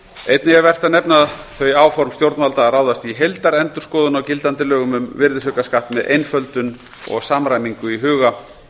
einnig er vert að nefna þau áform stjórnvalda að ráðast í heildarendurskoðun á gildandi lögum um virðisaukaskatt með einföldun og samræmingu í huga